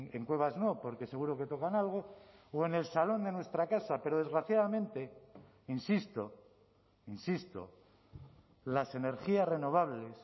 en cuevas no porque seguro que tocan algo o en el salón de nuestra casa pero desgraciadamente insisto insisto las energías renovables